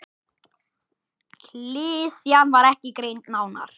Klisjan var ekki greind nánar.